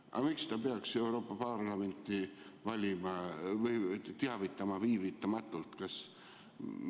" Aga miks ta peaks Euroopa Parlamenti teavitama viivitamatult?